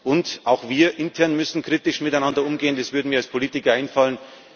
Und auch wir intern müssen kritisch miteinander umgehen. Das würde mir als Politiker einfallen.